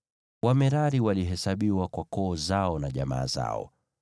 Wamerari walihesabiwa kwa koo zao na jamaa zao.